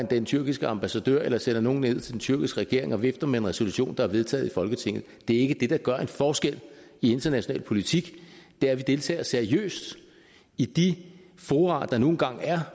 den tyrkiske ambassade eller sender nogle ned til den tyrkiske regering og der vifter med en resolution der er vedtaget i folketinget det er ikke det der gør en forskel i international politik det er at vi deltager seriøst i de fora der nu engang er